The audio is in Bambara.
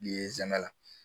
Ye nsɛmɛ la